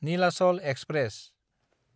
Nilachal express